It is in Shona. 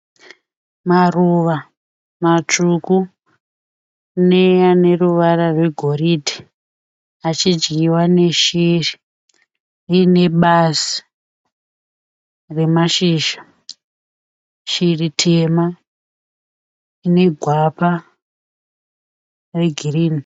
Maruva matsvuku neaneruwara rwegoridhe achidyiwa neshiri rinebazi remashizha shiri tema inegwapa regreen